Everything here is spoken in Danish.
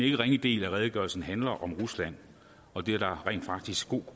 ikke ringe del af redegørelsen handler om rusland og det er der rent faktisk god